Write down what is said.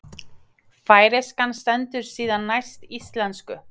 Færeyskan stendur síðan næst íslensku.